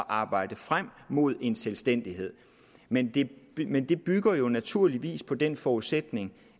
arbejde frem mod en selvstændighed men det men det bygger jo naturligvis på den forudsætning